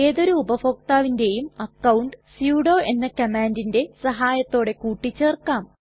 ഏതൊരു ഉപഭോക്താവിന്റേയും account sudo എന്ന കമ്മാണ്ടിന്റെ സഹായത്തോടെ കൂട്ടിച്ചേർക്കാം